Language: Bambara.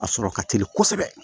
A sɔrɔ ka teli kosɛbɛ